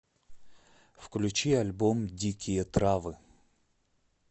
включи альбом дикие травы